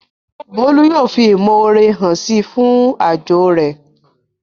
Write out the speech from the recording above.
Bólú yóò fi ìmọ̀ore hàn síi fún aájò rẹ̀